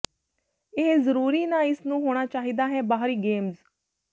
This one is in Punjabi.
ਇਹ ਜ਼ਰੂਰੀ ਨਾ ਇਸ ਨੂੰ ਹੋਣਾ ਚਾਹੀਦਾ ਹੈ ਬਾਹਰੀ ਗੇਮਜ਼